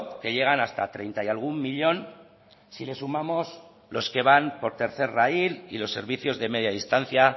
que llegan hasta treinta y algún millón si le sumamos los que van por tercer raíl y los servicios de media distancia